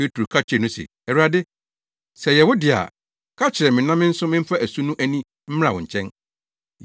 Petro ka kyerɛɛ no se, “Awurade, sɛ ɛyɛ wo de a, ka kyerɛ me na me nso memfa asu no ani mmra wo nkyɛn.”